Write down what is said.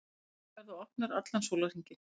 Stöðvarnar verða opnar allan sólarhringinn